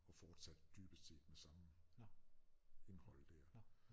Og fortsatte dybest set med samme indhold dér